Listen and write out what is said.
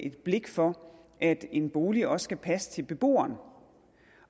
et blik for at en bolig også skal passe til beboeren